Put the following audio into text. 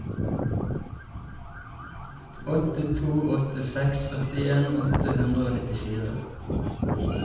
åtte to åtte seks førtien åtte hundre og nittifire